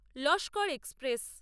Laskar express